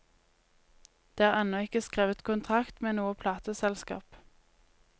Det er ennå ikke skrevet kontrakt med noe plateselskap.